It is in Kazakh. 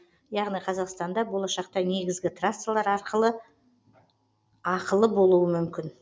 яғни қазақстанда болашақта негізгі трассалар ақылы болуы мүмкін